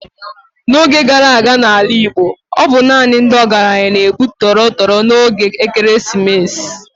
N'oge gara aga n'ala Igbo, ọ bụ naanị ndị ọgaranya na-egbu torotoro n'oge ekeresimesi.